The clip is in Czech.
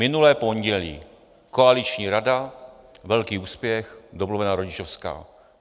Minulé pondělí koaliční rada, velký úspěch, domluvená rodičovská.